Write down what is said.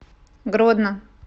гродно